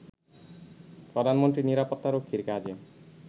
প্রধানমন্ত্রীর নিরাপত্তা রক্ষীর কাজে